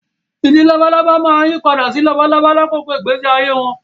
Ìdin labalábá máa yí padà sí labalábá lákòókò ìgbésí ayé wọn